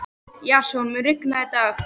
Jason, mun rigna í dag?